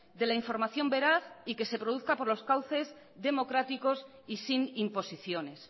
de la información veraz y que se produzca por los cauces democráticos y sin imposiciones